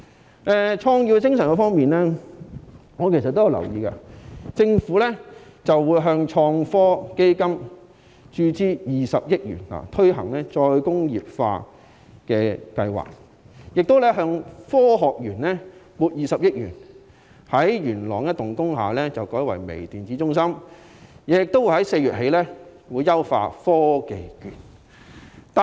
談到創業精神，我留意到政府會向創新及科技基金注資20億元，推行再工業化計劃，亦向香港科學園撥款20億元，把元朗一幢工廈改建為微電子中心，並在4月起優化科技券計劃。